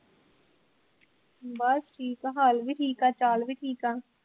ਬਸ ਠੀਕ ਐ ਹਾਲ ਵੀ ਠੀਕ ਐ ਚਾਲ ਵੀ ਠੀਕ ਐ।